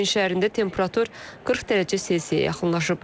Turin şəhərində temperatur 40 dərəcə Selsiyə yaxınlaşıb.